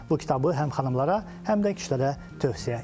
Bu kitabı həm xanımlara, həm də kişilərə tövsiyə edirəm.